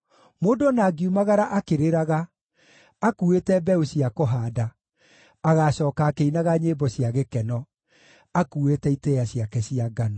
Mũndũ o na angiumagara akĩrĩraga, akuuĩte mbeũ cia kũhaanda, agaacooka akĩinaga nyĩmbo cia gĩkeno, akuuĩte itĩĩa ciake cia ngano.